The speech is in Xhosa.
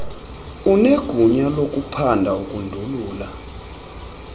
unegunya lokuphanda ukundulula